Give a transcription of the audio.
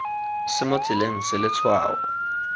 se mo tseleng se letshwao